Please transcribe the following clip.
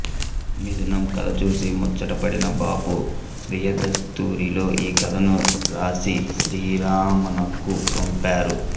మిథునం కథ చూసి ముచ్చటపడిన బాపు స్వీయదస్తూరిలో ఆ కథను రాసి శ్రీరమణకు పంపారు